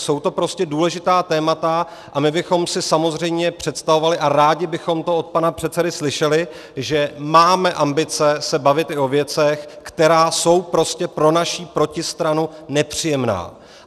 Jsou to prostě důležitá témata a my bychom si samozřejmě představovali, a rádi bychom to od pana předsedy slyšeli, že máme ambice se bavit i o věcech, které jsou prostě pro naší protistranu nepříjemné.